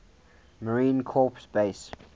marine corps base